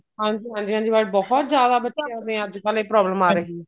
ਹਾਂਜੀ ਹਾਂਜੀ white ਬਹੁਤ ਜਿਆਦਾ ਬੱਚਿਆ ਦੇ ਅੱਜਕਲ ਇਹ ਬਹੁਤ ਜਿਆਦਾ problem ਆ ਰਹੀ ਹੈ